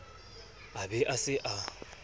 a be a se a